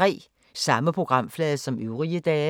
Samme programflade som øvrige dage